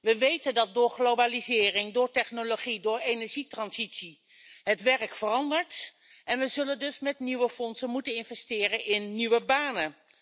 We weten dat door globalisering, door technologie, door energietransitie, het werk verandert en we zullen dus met nieuwe fondsen moeten investeren in nieuwe banen.